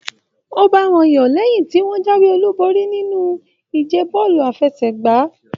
O ba wọn yọ lẹyin tí wọn jáwé olú borí nínú ìje bọọlu àfẹ́sẹ̀gbà.